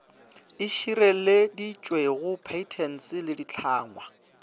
e šireleditšwego patents le ditlhangwa